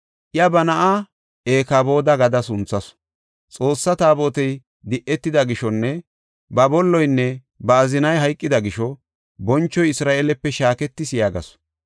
Iya ba na7aa Ikabooda gada sunthasu; Xoossaa Taabotey di7etida gishonne ba bolloynne ba azinay hayqida gisho, “Bonchoy Isra7eelepe shaaketis” yaagasu.